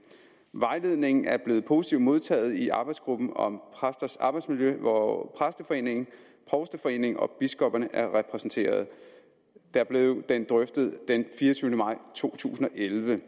vejledningen er blevet positivt modtaget i arbejdsgruppen om præsters arbejdsmiljø hvor præsteforeningen provsteforeningen og biskopperne er repræsenteret der blev den drøftet den fireogtyvende maj to tusind og elleve